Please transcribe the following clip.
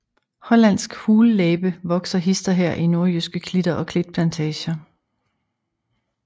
Hollandsk hullæbe vokser hist og her i nordjyske klitter og klitplantager